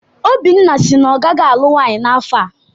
Obinna si na ọ gaghị alụ nwaanyị n'afọ a.